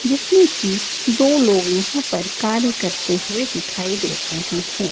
जिसमें की दो लोग यहां पर कार्य करते हुए दिखाई दे रहे हैं।